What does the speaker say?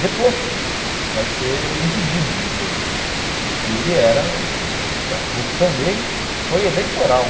deposto, vai ser impedido depois, porque ele o o a corrupção dele foi eleitoral.